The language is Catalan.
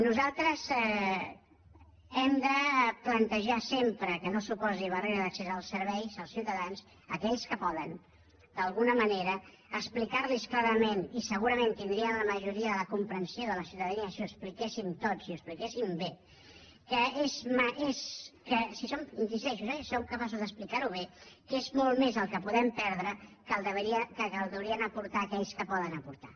nosaltres hem de plantejar sempre que no suposi barrera d’accés als serveis als ciutadans a aquells que poden d’alguna manera explicar los clarament i segurament tindríem la majoria de la comprensió de la ciutadania si ho expliquéssim tots i ho expliquéssim bé que és que hi insisteixo si som capaços d’explicar ho bé que és molt més el que podem perdre que el que haurien d’aportar aquells que poden aportar